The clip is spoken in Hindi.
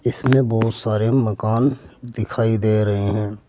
इस मे बहोत सारे मकान दिखाई दे रहे हैं।